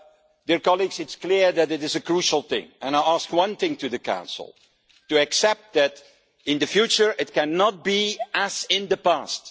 It is clear that it is a crucial thing and I ask one thing of the Council, to accept that in the future it cannot be as in the past.